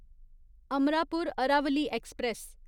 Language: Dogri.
अमरापुर अरावली एक्सप्रेस